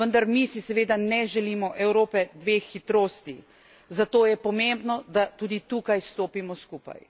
Vendar mi si seveda ne želimo Evrope dveh hitrosti, zato je pomembno, da tudi tukaj stopimo skupaj.